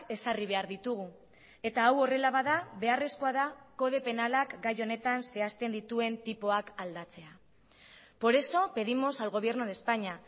ezarri behar ditugu eta hau horrela bada beharrezkoa da kode penalak gai honetan zehazten dituen tipoak aldatzea por eso pedimos al gobierno de españa